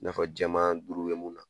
Nafa jɛman duuru bɛ mun na